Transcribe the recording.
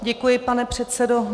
Děkuji, pane předsedo.